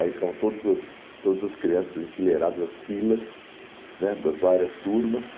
Aí ficavam todas as todas as crianças enfileiradas as filas né das várias turmas.